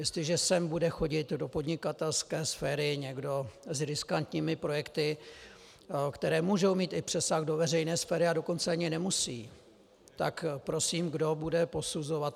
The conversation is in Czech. Jestliže sem bude chodit do podnikatelské sféry někdo s riskantními projekty, které můžou mít i přesah do veřejné sféry, a dokonce ani nemusí, tak prosím, kdo bude posuzovat?